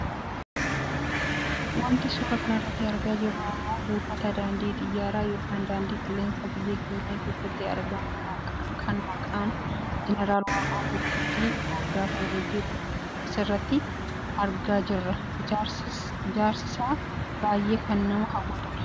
Wanti suuraa kanarratti argaa jiru ammoo buufata daandii xiyyaaraa yookiin daandii qilleensaa biyya keenya keessatti argamu kan maqaa jeneraal Waaqoo Guutuutiin moggaafamee jiru asiirratti argaa jirra . Ijaarsisaa baayyee kan nama hawwatu dha.